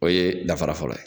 O ye dafara fɔlɔ ye